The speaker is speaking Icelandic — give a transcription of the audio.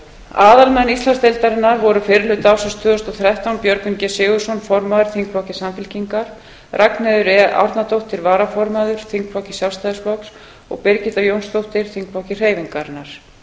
aðalmenn íslandsdeildarinnar voru fyrri hluta ársins tvö þúsund og þrettán björgvin g sigurðsson formaður þingflokki samfylkingarinnar ragnheiður e árnadóttir varaformaður þingflokki sjálfstæðisflokks og birgitta jónsdóttir þingflokki hreyfingarinnar